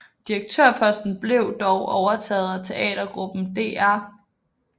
Direktørposten blev dog overtaget af teatergruppen Dr